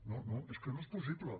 no no és que no és possible